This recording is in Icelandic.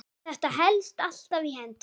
Þetta helst alltaf í hendur.